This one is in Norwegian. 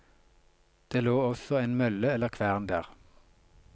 Det lå også en mølle eller kvern der.